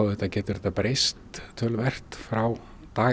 auðvitað breyst töluvert frá